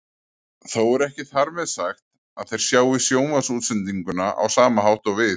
Þó er ekki þar með sagt að þeir sjái sjónvarpsútsendinguna á sama hátt og við.